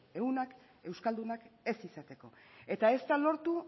ehunak euskaldunak ez izateko eta ez da lortu